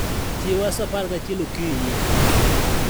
chiewa sa apar gachiel okinyi.